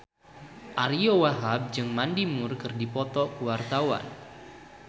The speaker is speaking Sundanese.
Ariyo Wahab jeung Mandy Moore keur dipoto ku wartawan